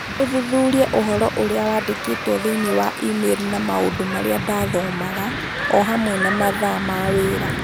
ũthuthurie ũhoro ũrĩa wandĩkĩtwo thĩinĩ wa e-mail na maũndũ marĩa ndathomaga, o hamwe na mathaa ma wĩra